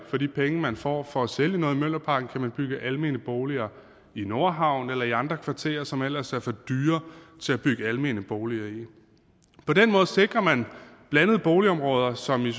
for de penge man får for at sælge noget i mjølnerparken kan man bygge almene boliger i nordhavnen eller i andre kvarterer som ellers er for dyre til at bygge almene boliger i på den måde sikrer man blandede boligområder som i